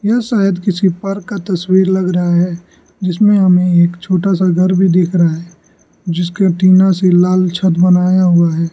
यह शायद किसी पार्क का तस्वीर लग रहा है जिसमें हमें एक छोटा सा घर भी दिख रहा है जिसके टीना से लाल छत बनाया हुआ है।